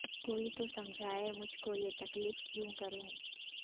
کو ئی تو سمجھائے مجھ کو یہ تکلف کیو ں کروں